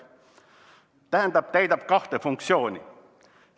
Tähendab, täidab kahte funktsiooni.